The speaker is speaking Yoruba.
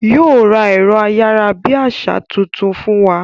Yóò ra ẹ̀rọ ayárabíàṣá tuntun fún wa